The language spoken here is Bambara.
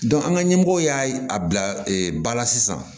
an ka ɲɛmɔgɔ y'a bila ba la sisan